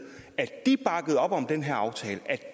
at de bakkede op om den her aftale at